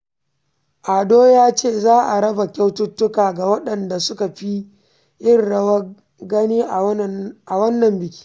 Ado ya ce za a raba kyaututtuka ga waɗanda suka fi yin rawar gani a wannan bikin.